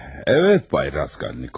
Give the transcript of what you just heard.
Bəli, Bay Razkalnikov.